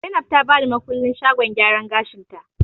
Zainab ta bani makullin shagon gyaran gashin ta